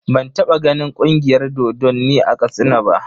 Ban taɓa ganin Ƙungiyar dodonni a Katsina ba.